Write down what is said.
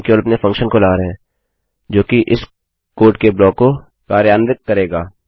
हम केवल अपने फंक्शन को ला रहे हैं जोकि इस कोड के ब्लाक को कार्यान्वित करेगा